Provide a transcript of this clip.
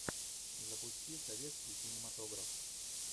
запусти советский кинематограф